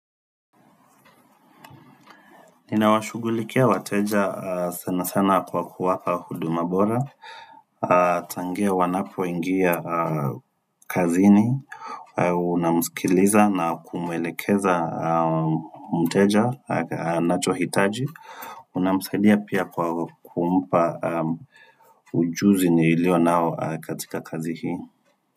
Ninawashughulikia wateja sana sana kwa kuwapa huduma bora Tangia wanapoingia kazini Unamsikiliza na kumwelekeza mteja anachohitaji Unamsaidia pia kwa kumpa ujuzi ni iliyo nao katika kazi hii.